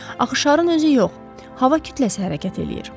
Axı şarın özü yox, hava kütləsi hərəkət eləyir.